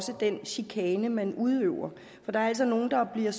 den chikane man udøver for der er altså nogle der bliver